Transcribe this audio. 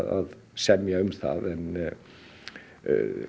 semja um það en